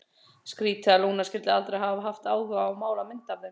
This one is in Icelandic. Skrítið að Lúna skyldi aldrei hafa haft áhuga á að mála mynd af þeim.